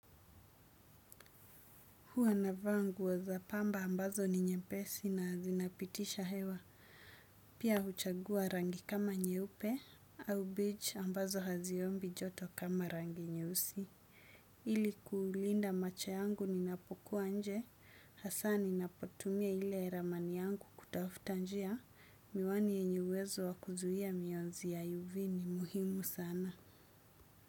Huwa na vaa nguo za pamba ambazo ni nyepesi na zinapitisha hewa. Pia huchagua rangi kama nyeupe au beach ambazo haziombi joto kama rangi nyeusi. Ili kuulinda macho yangu ni napokuwa nje. Hasani napotumia ile ramani yangu kutafutanjia. Miwani yenye uwezo wa kuzuia miyonzi ya uv ni muhimu sana.